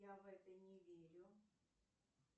я в это не верю